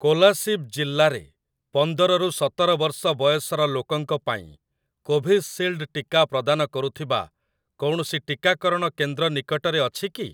କୋଲାସିବ ଜିଲ୍ଲାରେ ପନ୍ଦର ରୁ ସତର ବର୍ଷ ବୟସର ଲୋକଙ୍କ ପାଇଁ କୋଭିସିଲ୍ଡ ଟିକା ପ୍ରଦାନ କରୁଥିବା କୌଣସି ଟିକାକରଣ କେନ୍ଦ୍ର ନିକଟରେ ଅଛି କି?